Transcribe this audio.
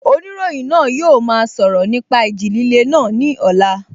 Oníròyìn náà yóò máa sọ̀rọ̀ nípa ìjì líle náà ní ọ̀la